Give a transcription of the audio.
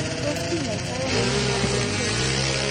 Tos' kiny'aystonano mnyandoap Hailey Hailey?